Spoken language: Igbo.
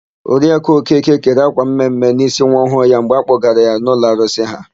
Oriaku Okeke kere ákwà mme mme n'ísí nwa ọhụụ ya mgbe a kpọgara ya n'ụlọ arụsị ha.